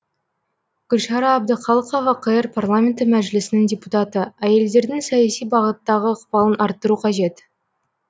гүлшара әбдіқалықова қр парламенті мәжілісінің депутаты әйелдердің саяси бағыттағы ықпалын арттыру қажет